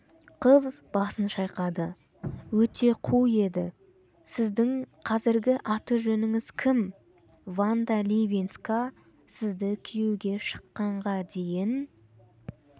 қыз басын шайқады өте қу еді сіздің қазіргі аты-жөніңіз кім ванда ливинска сізді күйеуге шыққанға дейін